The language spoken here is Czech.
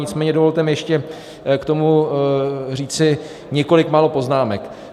Nicméně dovolte mi ještě k tomu říci několik málo poznámek.